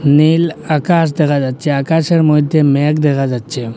নীল আকাশ দেখা যাচ্ছে আকাশের মধ্যে ম্যাঘ দেখা যাচ্ছে।